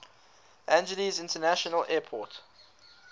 angeles international airport